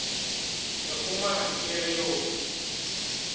re humana ke re o